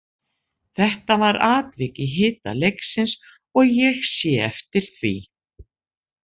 Þetta var atvik í hita leiksins og ég sé eftir því.